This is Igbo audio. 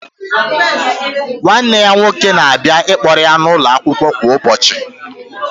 Nwanne ya nwoke na-abịa ịkpọrọ ya n'ụlọ akwụkwọ kwa ụbọchị